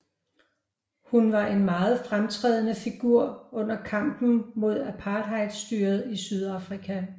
Hun var en meget fremtrædende figur under kampen mod apartheidstyret i Sydafrika